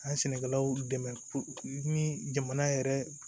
An ye sɛnɛkɛlaw dɛmɛ ni jamana yɛrɛ